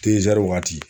waati